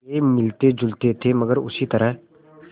वे मिलतेजुलते थे मगर उसी तरह